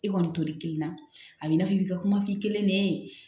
I kɔni t'o de kelen na a b'i n'a fɔ i b'i ka kuma f'i kelen ne ye